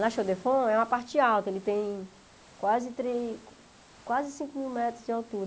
La Chaux-de-Fonds é uma parte alta, ele tem quase três quase cinco mil metros de altura.